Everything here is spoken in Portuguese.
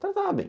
Tratava bem.